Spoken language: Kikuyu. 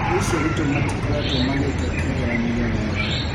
Thikũ ici arutwo matikoretwo magĩka kĩgeranio wega.